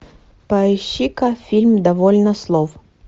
поищи ка фильм довольно слов